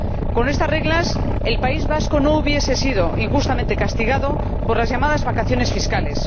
Con estas reglas, el País Vasco no habría sido injustamente castigado por las llamadas vacaciones fiscales.